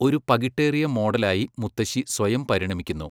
ഒരു പകിട്ടേറിയ മോഡലായി മുത്തശ്ശി സ്വയം 'പരിണമിക്കുന്നു'.